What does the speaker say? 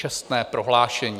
Čestné prohlášení.